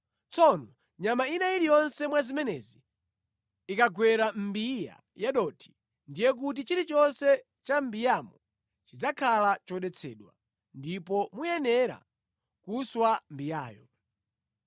Tsono nyama ina iliyonse mwa zimenezi ikagwera mʼmbiya ya dothi, ndiye kuti chilichonse cha mʼmbiyamo chidzakhala chodetsedwa, ndipo muyenera kuswa mbiyayo.